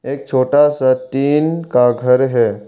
एक छोटा सा टिन का घर है।